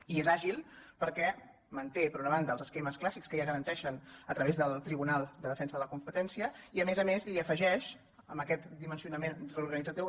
i és àgil per·què manté per una banda els esquemes clàssics que ja es garanteixen a través del tribunal de defensa de la competència i a més a més hi afegeix amb aquest dimensionament reorganitzatiu